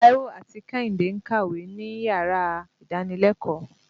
Táíwò àti Kẹ́hìndé ń kàwé níyàrá ìdánilẹ́kòọ́.